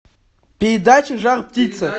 передача жар птица